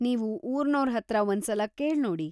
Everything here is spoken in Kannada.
ನೀವು ಊರ್ನೋರ್‌ ಹತ್ರ ಒಂದ್ಸಲ ಕೇಳ್ನೋಡಿ.